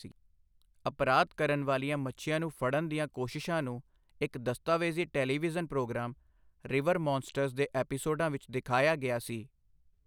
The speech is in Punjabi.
ਅਪਰਾਧ ਕਰਨ ਵਾਲੀਆਂ ਮੱਛੀਆਂ ਨੂੰ ਫੜਨ ਦੀਆਂ ਕੋਸ਼ਿਸ਼ਾਂ ਨੂੰ ਇੱਕ ਦਸਤਾਵੇਜ਼ੀ ਟੈਲੀਵਿਜ਼ਨ ਪ੍ਰੋਗਰਾਮ, ਰਿਵਰ ਮੌਨਸਟਰਸ ਦੇ ਐਪੀਸੋਡਾਂ ਵਿੱਚ ਦਿਖਾਇਆ ਗਿਆ ਸੀ।